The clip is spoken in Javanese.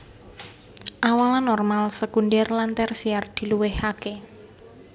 Awalan normal sekundhèr lan tèrsièr diluwèhaké